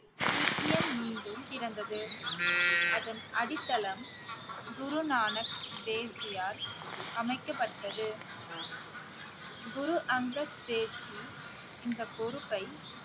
சீக்கியம் மீண்டும் பிறந்தது அதன் அடித்தளம் குருநானக் தேவ்ஜியால் அமைக்கப்பட்டது குரு அங்கத் தேவ்ஜி இந்த பொறுப்பை